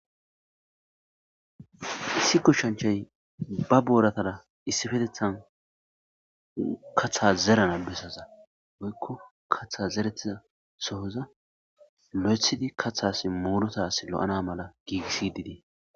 Issi kushanchay ba booratara issifetethan katha zerana bessaza woykko katha zeretiza sohoza lo7ethidi kathas muulota s lo7ana mala giigissididee.